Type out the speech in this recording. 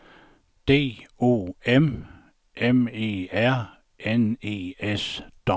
D O M M E R N E S